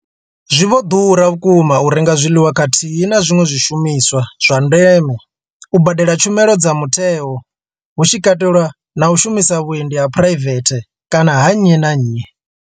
Zwi vho ḓura vhukuma u renga zwiḽiwa khathihi na zwiṅwe zwishumiswa zwa ndeme, u badela tshumelo dza mutheo hu tshi katelwa na u shumisa vhuendi ha phuraivethe kana ha nnyi na nnyi.